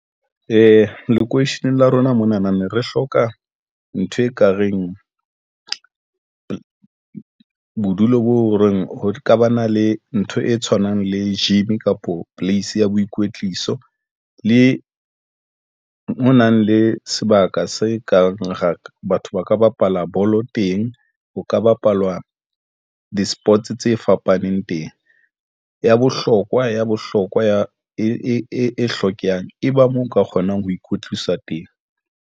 Ee, lokweisheneng la rona mona na ne re hloka ntho ekareng bodulo boo, re ho ka ba na le ntho e tshwanang le gym kapo place ya boikwetliso le o nang le sebaka se kang ra batho ba ka bapala bolo teng. Ho ka bapalwa di-sports tse fapaneng teng ya bohlokwa ya bohlokwa ya e hlokehang, e ba mo nka kgonang ho ikwetlisa teng.